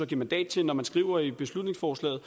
give mandat til når man skriver i beslutningsforslaget